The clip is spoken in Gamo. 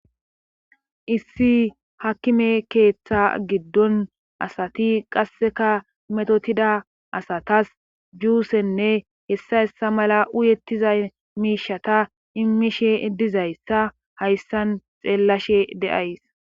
issi hakkime keeththa giddon asati qasseka metotida asatas juusenne hessa hessa mala uyettiza miishata immishe dizayssa hayssan xeellashe deays